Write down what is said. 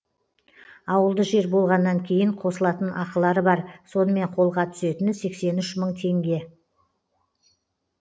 ауылды жер болғаннан кейін қосылатын ақылары бар сонымен қолға түсетіні сексен үш мың теңге